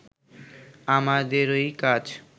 আমাদেরই কাজ